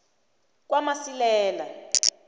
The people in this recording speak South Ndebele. kwakamasilela